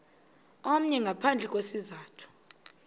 omnye ngaphandle kwesizathu